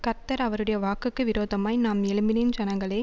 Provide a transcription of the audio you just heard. கர்த்தர் அவருடைய வாக்குக்கு விரோதமாய் நாம் எழும்பினேன் ஜனங்களே